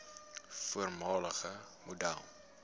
voormalige model